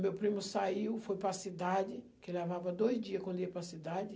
Meu primo saiu, foi para a cidade, que levava dois dia quando ia para a cidade.